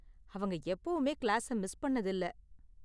அவங்க எப்போவுமே கிளாஸை மிஸ் பண்ணது இல்ல.